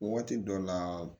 Waati dɔ la